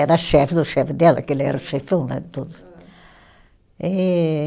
Era chefe do chefe dela, que ele era o chefão, né de todos. E